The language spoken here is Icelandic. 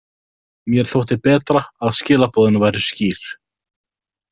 Mér þótti betra að skilaboðin væru skýr.